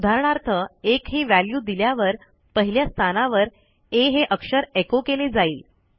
उदाहरणार्थ 1ही व्हॅल्यू दिल्यावर पहिल्या स्थानावर आ हे अक्षरecho केले जाईल